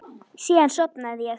Síðan sofnaði ég.